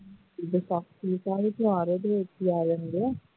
ਇਥੇ ਸਭ ਤਿਉਹਾਰ ਤਿਆਰ ਹੁੰਦੇ ਆ